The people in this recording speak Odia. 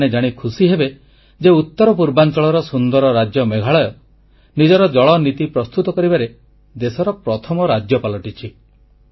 ଆପଣମାନେ ଜାଣି ଖୁବ୍ ଖୁସି ହେବେ ଯେ ଉତ୍ତର ପୂର୍ବାଂଚଳର ସୁନ୍ଦର ରାଜ୍ୟ ମେଘାଳୟ ନିଜର ଜଳନୀତି ପ୍ରସ୍ତୁତ କରିବାରେ ଦେଶର ପ୍ରଥମ ରାଜ୍ୟ ପାଲଟିଛି